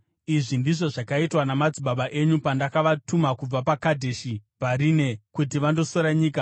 Izvi ndizvo zvakaitwa namadzibaba enyu pandakavatuma kubva paKadheshi Bharinea kuti vandosora nyika.